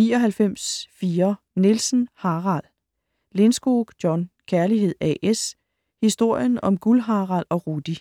99.4 Nielsen, Harald Lindskog, John: Kærlighed A/S: historien om Guld-Harald og Rudi